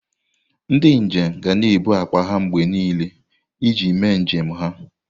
Ndị njem ga na-ebu akpa mgbe niile iji mee njem ha.